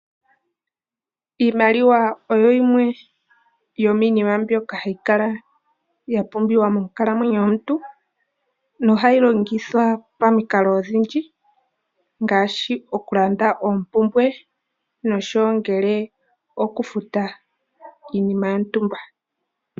Iimaliwa oyo yimwe yo miinima mbyoka hayi kala ya pumbiwa moo nkalamwenyo yomuntu. No hayi longithwa pamikalo odhindji, ngaashi okulanda oombumbwe noku futa iinima yontumba.